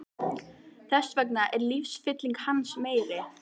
Þess vegna er lífsfylling hans meiri.